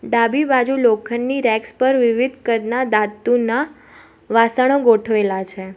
ડાબી બાજુ લોખંડની રેકસ પર વિવિધ કદનાં ધાતુનાં વાસણો ગોઠવેલાં છે.